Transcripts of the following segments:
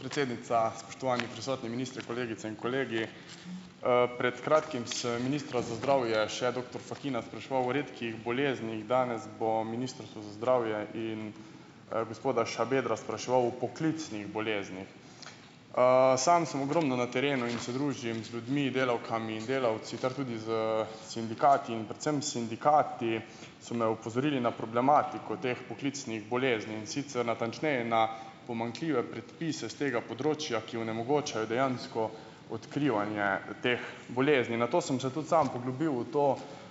Predsednica, spoštovani prisotni, minister, kolegice in kolegi! Pred kratkim sem ministra za zdravje, še doktor Fakina, spraševal o redkih boleznih. Danes bom Ministrstvo za zdravje in, gospoda Šabedra spraševal o poklicnih boleznih. Sam sem ogromno na terenu in se družim z ljudmi, delavkami in delavci ter tudi s, sindikati in predvsem sindikati so me opozorili na problematiko teh poklicnih bolezni, in sicer natančneje na pomanjkljive predpise s tega področja, ki onemogočajo dejansko odkrivanje teh bolezni. Nato sem se tudi sam poglobil v to,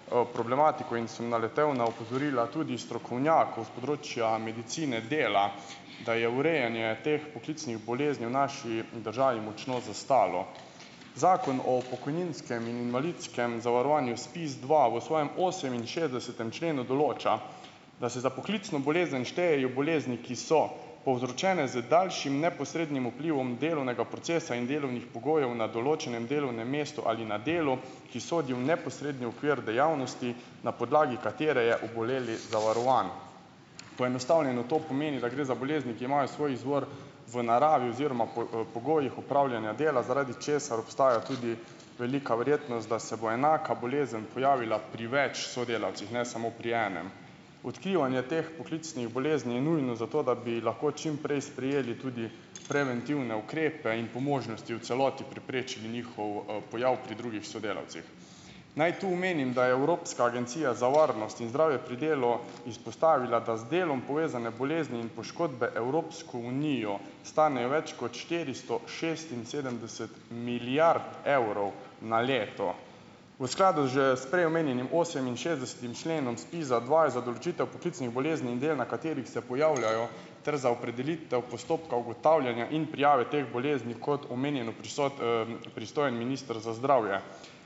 problematiko in sem naletel na opozorila tudi strokovnjakov s področja medicine dela, da je urejanje teh poklicnih bolezni v naši državi močno zastalo. Zakon o pokojninskem in invalidskem zavarovanju ZPIZdva v svojem oseminšestdesetem členu določa, da se za poklicno bolezen štejejo bolezni, ki so povzročene z daljšim neposrednim vplivom delovnega procesa in delovnih pogojev na določenem delovnem mestu ali na delu, ki sodi v neposredni okvir dejavnosti, na podlagi katere je oboleli zavarovan. Poenostavljeno to pomeni, da gre za bolezni, ki imajo svoj izvor v naravi oziroma pogojih opravljanja dela, zaradi česar obstaja tudi velika verjetnost, da se bo enaka bolezen pojavila pri več sodelavcih, ne samo pri enem. Odkrivanje teh poklicnih bolezni je nujno za to, da bi lahko čim prej sprejeli tudi preventivne ukrepe in po možnosti v celoti preprečili njihov, pojav pri drugih sodelavcih. Naj tu omenim, da je Evropska agencija za varnost in zdravje pri delu izpostavila, da z delom povezane bolezni in poškodbe Evropsko unijo stanejo več kot štiristo šestinsedemdeset milijard evrov na leto. V skladu že s prej omenjenim oseminšestdesetim členom ZPIZ-adva je za določitev poklicnih bolezni in del, na katerih se pojavljajo, ter za opredelitev postopka ugotavljanja in prijave teh bolezni, kot omenjeno, pristojen minister za zdravje.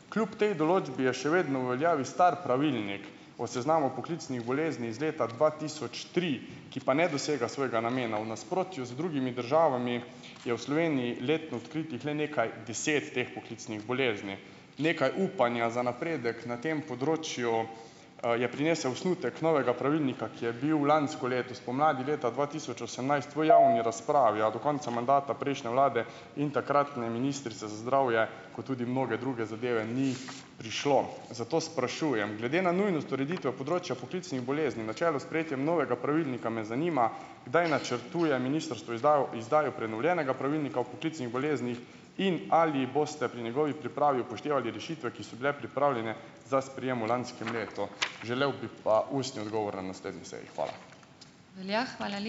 Kljub tej določbi je še vedno v veljavi stari pravilnik o seznamu poklicnih bolezni iz leta dva tisoč tri, ki pa ne dosega svojega namena, v nasprotju z drugimi državami je v Sloveniji letno odkritih le nekaj deset teh poklicnih bolezni. Nekaj upanja za napredek na tem področju, je prinesel osnutek novega pravilnika, ki je bil lansko leto spomladi leta dva tisoč osemnajst v javni raz pravi, a do konca mandata prejšnje vlade in takratne ministrice za zdravje, kot tudi mnoge druge zadeve, ni prišlo. Zato sprašujem: Glede na nujnost ureditve področja poklicnih bolezni na čelu s sprejetjem novega pravilnika me zanima, kdaj načrtuje ministrstvo izdajo prenovljenega pravilnika o poklicnih boleznih in ali boste pri njegovi pripravi upoštevali rešitve, ki so bile pripravljene za sprejem v lanskem letu? Želel bi pa ustni odgovor na naslednji seji. Hvala.